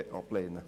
Bitte ablehnen.